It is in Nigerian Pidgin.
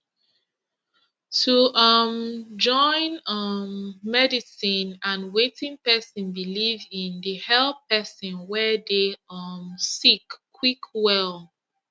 to um join um medicine and wetin pesin believe in dey help pesin wey dey um sick quick well